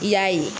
I y'a ye